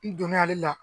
N donn'ale la